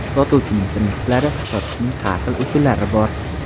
Sotuvchining prinsiplari Sotishning har xil usullari bor.